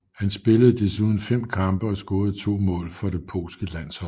Han spillede desuden fem kampe og scorede to mål for det polske landshold